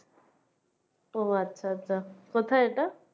ও আচ্ছা আচ্ছা কোথায় এটা?